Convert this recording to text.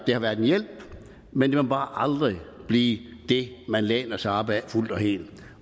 det har været en hjælp men det må bare aldrig blive det man læner sig op ad fuldt og helt